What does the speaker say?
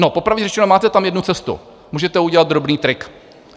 No, popravdě řečeno, máte tam jednu cestu, můžete udělat drobný trik.